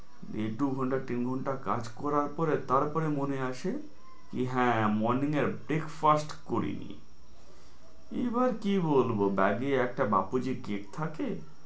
দেড় দু ঘন্টা তিন ঘন্টা কাজ করার পরে তারপরে মনে আসে কি হ্যাঁ morning এর breakfast করিনি, এইবার কি বলবো bag এ একটা বাপুজি cake থাকে,